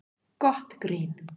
Gott grín